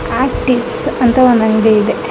Optics ಅಂತ ಒಂದು ಅಂಗಡಿ ಇದೆ .